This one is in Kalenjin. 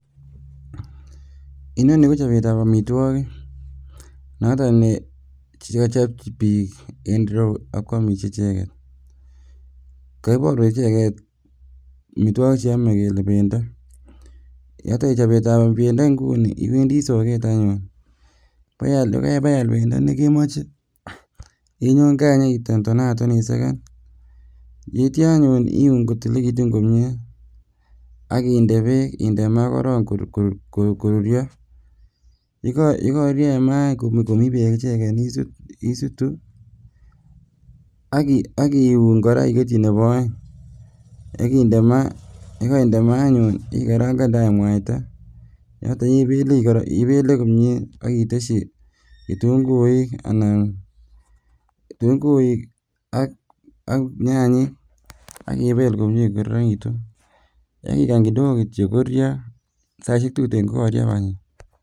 Inonii kochobeetab amitwokik noton nee kochob biik en ireyuu ak kwamiis icheket, koiborwech icheket amitwokik cheome kelee bendo, yoton chobeetab bendo ing'uni iwendii sokeet anyun, ko yebeal bendo nekemoche inyoon Kaa Inyo itonaton iseken, yeityo anyun iuun kotililekitun komiee ak indee beek indee maa korong koruryo, yekoruryo en maa komii beek icheken isutuu ak iuun iketyi kora neboo oeng akinde maa, yekoimde maa anyun ikarang'ande any mwaita yoton ibelee komie ak itesyii kitung'uik anan kitung'uik ak nyanyiik ak ibeel komie ko koronekitun ak ikany kidogo kityo koruryo, saishek tuten kokochobok.